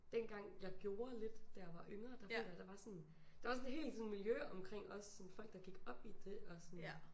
Dengang jeg gjorde lidt da jeg var yngre der føler jeg der var sådan der var sådan et helt sådan miljø omkring også sådan folk der gik op i det og sådan